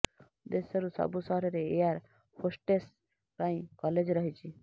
ଦେଶରୁ ସବୁ ସହରରେ ଏୟାର ହୋଷ୍ଟେସ୍ ପାଇଁ କଲେଜ ରହିଛି